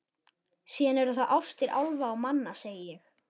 Síðan eru það ástir álfa og manna, segi ég.